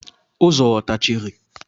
Ụzọ ọ tachiri?